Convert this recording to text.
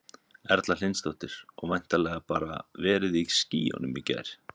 Erla Hlynsdóttir: Og væntanlega bara verið í skýjunum í gær?